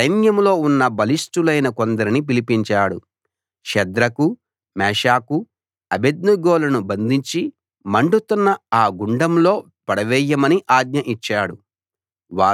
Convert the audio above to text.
తన సైన్యంలో ఉన్న బలిష్ఠులైన కొందరిని పిలిపించాడు షద్రకు మేషాకు అబేద్నెగోలను బంధించి మండుతున్న ఆ గుండంలో పడవేయమని ఆజ్ఞ ఇచ్చాడు